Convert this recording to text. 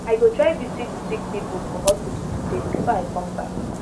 i go try visit sick pipu for hospital today before i come back